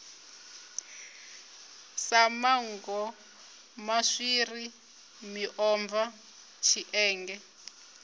sa manngo maswiri miomva tshienge